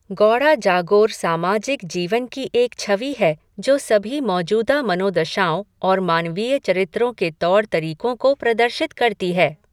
गौड़ा जागोर सामाजिक जीवन की एक छवि है, जो सभी मौजूदा मनोदशाओं और मानवीय चरित्रों के तौर तरीकों को प्रदर्शित करती है।